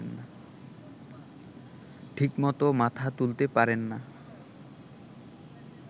ঠিকমতো মাথা তুলতে পারেন না